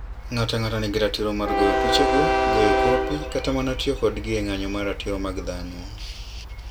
Ng'ato ang'ata nigi ratiro mar goyo pichego, goyo kopi, kata mana tiyo kodgi e ng'anyo ne ratiro mag dhano.